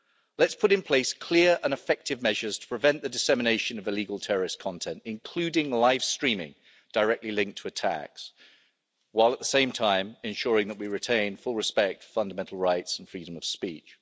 Let's put in place clear and effective measures to prevent the dissemination of illegal terrorist content, including live streaming directly linked to attacks, while at the same time ensuring that we retain full respect for fundamental rights and freedom of speech.